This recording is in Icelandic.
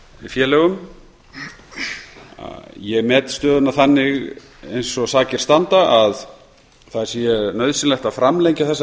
samlagsfélögum ég met stöðuna þannig eins og sakir standa að það sé nauðsynlegt að framlengja þessa